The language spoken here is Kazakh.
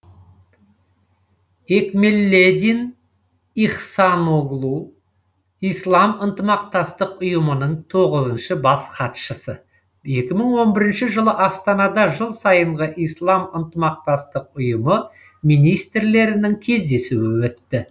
экмелледин ихсаноглу ислам ынтымақтастық ұйымының тоғызыншы бас хатшысы екі мың он бірінші жылы астанада жыл сайынғы ислам ынтымақтастық ұйымы министрлерінің кездесуі өтті